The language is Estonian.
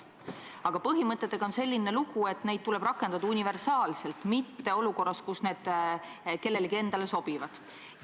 Aga põhimõtetega on selline lugu, et neid tuleb rakendada universaalselt, mitte olukorras, kus need kellelegi endale sobivad.